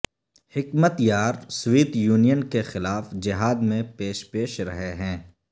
حکمت یار Soviet Union کے خلاف جہاد میں پیش پیش رہے ہیں